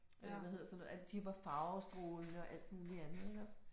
Eller hvad hedder sådan noget, at de var farvestrålende og alt muligt andet, iggås